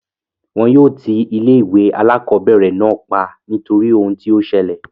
Wọn yóò ti ilé ìwé alákọ̀berẹ̀ náà pa nítorí ohun tí o ṣẹlẹ̀.